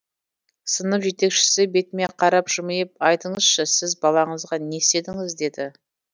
сынып жетекшісі бетіме қарап жымиып айтыңызшы сіз балаңызға не істедіңіз деді